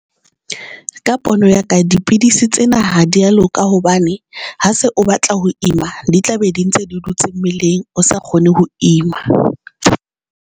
Ka pono ya ka dipidisi tsena ha di a loka hobane ha se o batla ho ima di tla be di ntse di dutse mmeleng o sa kgone ho ima.